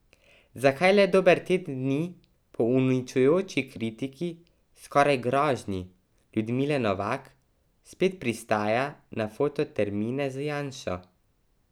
Zakaj le dober teden dni po uničujoči kritiki, skoraj grožnji Ljudmile Novak spet pristaja na fototermine z Janšo?